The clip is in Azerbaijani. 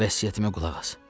Vəsiyyətimə qulaq as.